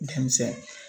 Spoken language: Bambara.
Denmisɛn